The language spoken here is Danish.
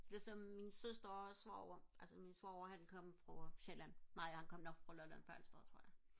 ligesom min søster og svoger altså min svoger han kom fra sjælland nej han kom nok fra lolland falster tror jeg